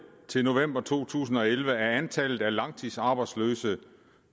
til november to tusind og elleve er antallet af langtidsarbejdsløse